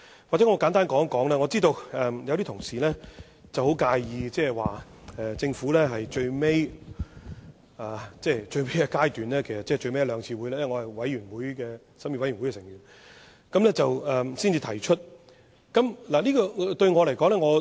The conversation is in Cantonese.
也許我簡單說一說，我知道有些同事很介意政府在最後階段，即最後一兩次會議——因為我是負責審議的法案委員會委員——才提出修正案。